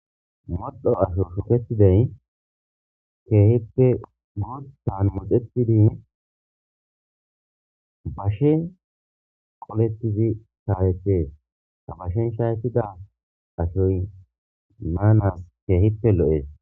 moddho asho shuketidey keehippe guuttan moxetidi bashe qoletizi shaawetees ta bashen shaytida ashoy naanas keehippe lo7ees